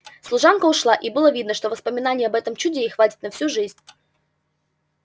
служанка ушла и было видно что воспоминаний об этом чуде ей хватит на всю жизнь